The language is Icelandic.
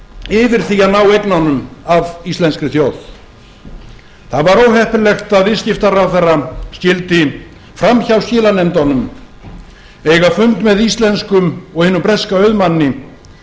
yfir því að ná eignunum af íslenskri þjóð það var óheppilegt að viðskiptaráðherra skyldi framhjá skilanefndunum eiga fund með íslenskum og hinum breska auðmanni